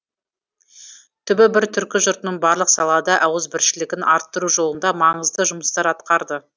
түбі бір түркі жұртының барлық салада ауызбіршілігін арттыру жолында маңызды жұмыстар атқарды